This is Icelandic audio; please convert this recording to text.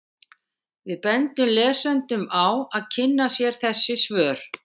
Við bendum lesendum á að kynna sér þessi svör.